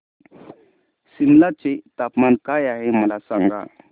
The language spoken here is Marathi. सिमला चे तापमान काय आहे मला सांगा